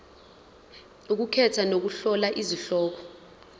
ukukhetha nokuhlola izihloko